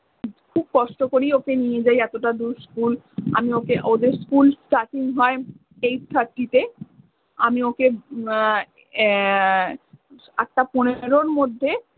খুব কষ্ট করেই ওকে নিয়ে যাই এতটা দূর। school আমি ওকে ওদের school starting হয় eight thirty তে। আমি ওকে উম এর আটটা পনেরোর মধ্যে